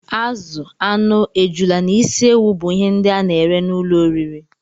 Azụ, anụ, ejula na ịsị ewụ bú ihe ndị a na-ere n'ụlọ oriri